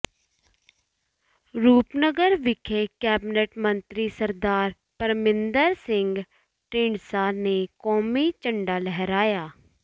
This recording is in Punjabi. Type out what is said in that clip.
ਰੂਪਨਗਰ ਵਿਖੇ ਕੈਬਨਿਟ ਮੰਤਰੀ ਸਰਦਾਰ ਪਰਮਿੰਦਰ ਸਿੰਘ ਢੀਂਡਸਾ ਨੇ ਕੌਮੀ ਝੰਡਾ ਲਹਿਰਾਇਆ